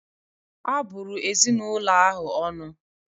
Abụrụ ezinụlọ ahụ ọnụ